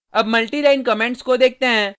अब multiline comments को देखते हैं